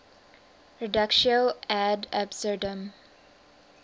reductio ad absurdum